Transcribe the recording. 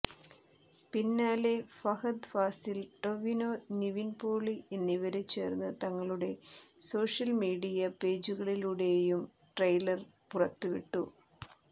പിന്നാലെ ഫഹദ് ഫാസിൽ ടൊവിനോ നിവിൻ പോളി എന്നിവര് ചേർന്ന് തങ്ങളുടെ സോഷ്യമീഡിയ പേജുകളിലൂടെയും ട്രെയിലർ പുറത്ത് വിട്ടു